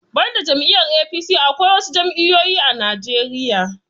Banda jam'iyar 'A.P.C' Akwai wasu jam'iyoyin a najeriya